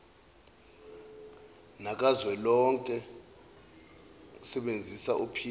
nakazwelonke useebnzisa uphinda